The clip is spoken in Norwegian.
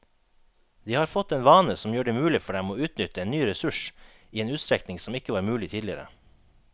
De har fått en vane som gjør det mulig for dem å utnytte en ny ressurs i en utstrekning som ikke var mulig tidligere.